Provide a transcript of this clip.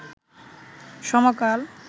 সমকাল